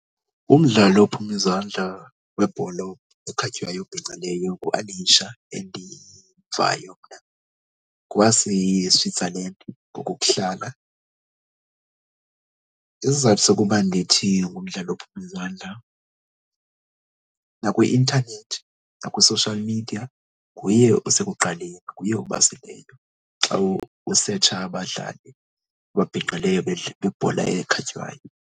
Umdlali ophuma izandla webhola ekhatywayo obhinqileyo nguAlisha endivayo mna, ngowaseSwitzerland ngokokuhlala. Isizathu sokuba ndithi ngumdlali ophume izandla nakwi-intanethi naku-social media nguye osekuqaleni, nguye obaseleyo xa usetsha abadlali ababhinqileyo bebhola ekhatywayo.